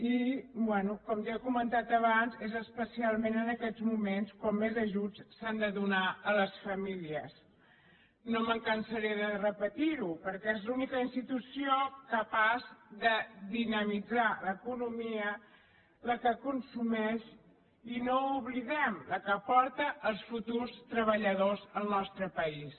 i bé com ja he comentat abans és especialment en aquests moments quan més ajuts s’han de donar a les famílies no me’n cansaré de repetir·ho perquè és l’única institució capaç de dinamitzar l’economia la que consumeix i no ho oblidem la que aporta els fu·turs treballadors al nostre país